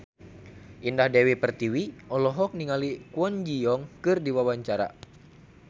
Indah Dewi Pertiwi olohok ningali Kwon Ji Yong keur diwawancara